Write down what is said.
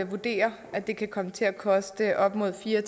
vurderer at det kan komme til at koste op mod fire